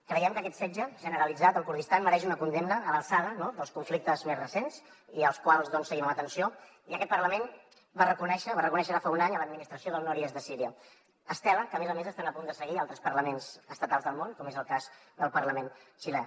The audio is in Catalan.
creiem que aquest setge generalitzat al kurdistan mereix una condemna a l’alçada dels conflictes més recents i els quals seguim amb atenció i aquest parlament va reconèixer ara fa un any l’administració del nord i est de síria estela que a més a més estan a punt de seguir altres parlaments estatals del món com és el cas del parlament xilè